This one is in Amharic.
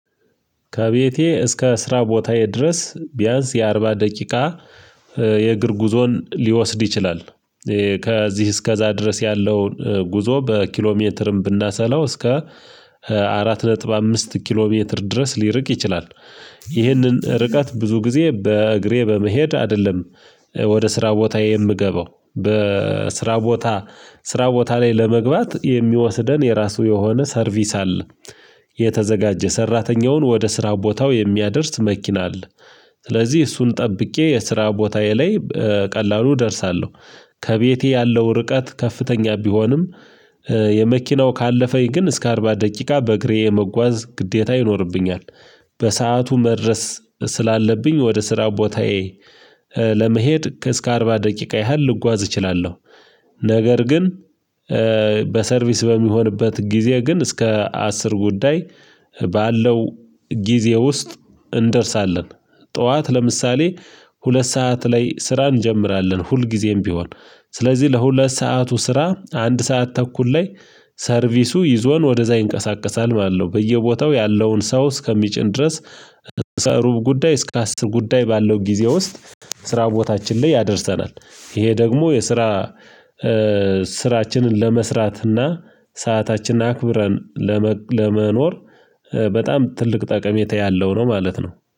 ከቤቴ እስከ ስራ ቦታዬ ድረስ ቢያንስ የአርባ ደቂቃ የእግር ጉዞን ሊወስድ ይችላል። ከዚህ እስከዛ ድረስ ያለውን ጉዞ በኪሎ ሜትርም ብናሰላው እስከ አራት ነጥብ አምስት ኪሎ ሜትር ድረስ ሊርቅ ይችላል። ይህንን ርቀት ብዙ ጊዜ በእግሬ በመሄድ አይደለም ወደ ስራ ቦታዬ የምገባው በስራ ቦታ ስራ ቦታ ላይ ለመግባት የሚወስደን የራሱ የሆነ ሰርቪስ አለ የተዘጋጀ ሰራተኛውን ወደ ስራ ቦታው የሚያደርስ መኪና አለ። ስለዚህ እሱን ጠብቄ የስራ ቦታዬ ላይ ቀላሉ እደርሳለሁ። ከቤቴ ያለው ርቀት ከፍተኛ ቢሆንም የመኪናው ካለፈኝ ግን እስከ አርባ ደቂቃ በእግሬ የመጓዝ ግዴታ ይኖርብኛል። በሰአቱ መድረስ ስላለብኝ ወደ ስራ ቦታዬ ለመሄድ እስከ አርባ ደቂቃ ያህል ልጓዝ እችላለሁ። ነገር ግን በሰርቪስ በሚሆንበት ጊዜ ግን እስከ አስር ጉዳይ ባለው ጊዜ ውስጥ እንደርሳለን። ጠዋት ለምሳሌ ሁለት ሰዓት ላይ ስራ እንጀምራለን ሁልጊዜም ቢሆን ስለዚህ ለሁለት ሰዓቱ ስራ አንድ ሰዓት ተኩል ላይ ሰርቪሱ ይዞን ወደዛ ይንቀሳቀሳል ማለት ነው። በየቦታው ያለውን ሰው እስከሚጭን ድረስ ሩብ ጉዳይ እስከ አስር ጉዳይ ባለው ጊዜ ውስጥ ስራ ቦታችን ላይ ያደርሰናል። ይሄ ደግሞ የስራ ስራችንን ለመስራት እና ሰዓታችን አክብረን ለመኖር በጣም ትልቅ ጠቀሜታ ያለው ነው ማለት ነው